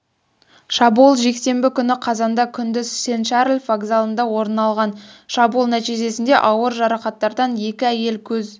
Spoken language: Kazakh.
шабуыл жексенбі күні қазанда күндіз сен-шарль вокзалында орын алған шабуыл нәтижесінде ауыр жарақаттардан екі әйел көз